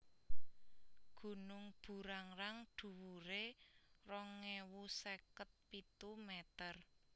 Gunung Burangrang dhuwuré rong ewu seket pitu mèter